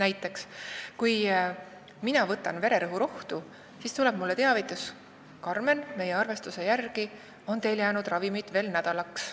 Võiks olla nii, et kui ma võtan vererõhuravimit, mis on mulle välja kirjutatud, siis tuleb mulle arvutis teavitus: "Karmen, meie arvestuse järgi on teil jäänud ravimit veel nädalaks.